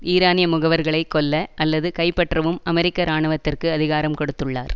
ஈரானிய முகவர்களை கொல்ல அல்லது கைப்பற்றவும் அமெரிக்க இராணுவத்திற்கு அதிகாரம் கொடுத்துள்ளார்